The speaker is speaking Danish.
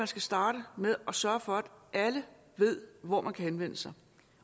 skal starte med at sørge for at alle ved hvor man kan henvende sig